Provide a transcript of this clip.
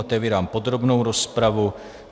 Otevírám podrobnou rozpravu.